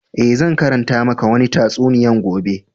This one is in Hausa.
Eh, zan karanta maka wanni tatsuniya gobe.